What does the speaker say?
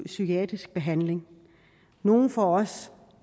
psykiatrisk behandling nogle får også